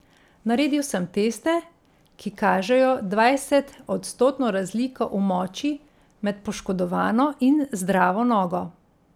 Naredil sem teste, ki kažejo dvajsetodstotno razliko v moči med poškodovano in zdravo nogo.